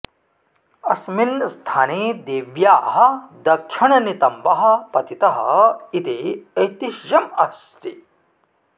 अस्मिन् स्थाने देव्याः दक्षिणनितम्बः पतितः इति ऐतिह्यम् अस्ति